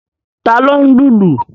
Ta ló ń lùlù?